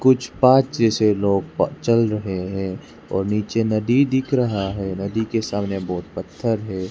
कुछ पाँच जैसे लोग चल रहे हैं और नीचे नदी दिख रहा है नदी के सामने बहुत पत्थर है।